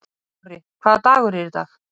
Dorri, hvaða dagur er í dag?